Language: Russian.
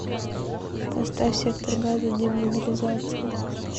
поставь сектор газа демобилизация